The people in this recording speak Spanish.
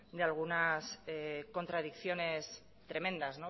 y algunas contradicciones tremendas